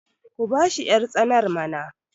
ku bashi yartsanar mana!